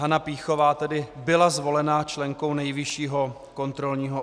Hana Pýchová tedy byla zvolena členkou Nejvyššího kontrolního